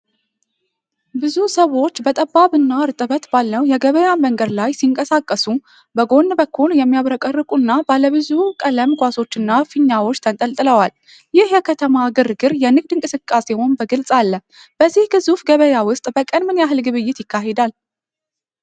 ብዙ ሰዎች በጠባብና እርጥበት ባለው የገበያ መንገድ ላይ ሲንቀሳቀሱ በጎን በኩል የሚያብረቀርቁና ባለብዙ ቀለም ኳሶች እና ፊኛዎች ተንጠልጥለዋል። ይህ የከተማ ግርግር የንግድ እንቅስቃሴውን በግልፅ አለ። በዚህ ግዙፍ ገበያ ውስጥ በቀን ምን ያህል ግብይት ይካሄዳል?